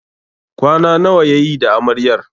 Kwana nawa yayi da Amaryar?